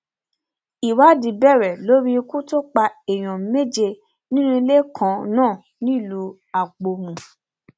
ìwádìí bẹrẹ lórí ikú tó pa èèyàn méje nínú ilé kan náà nílùú àpómù